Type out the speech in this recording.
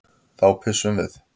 Þá pissum við.